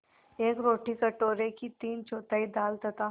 एक रोटी कटोरे की तीनचौथाई दाल तथा